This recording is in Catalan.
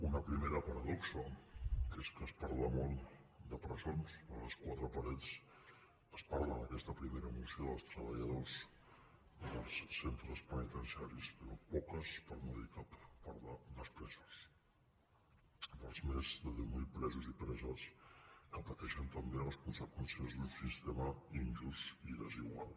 una primera paradoxa que és que es parla molt de presons de les quatre parets es parla en aquesta primera moció dels treballadors dels centres penitenciaris però poques per no dir cap parlen dels presos dels més de deu mil presos i preses que pateixen també les conseqüències d’un sistema injust i desigual